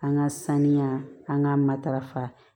An ka saniya an ka matarafa